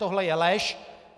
Tohle je lež.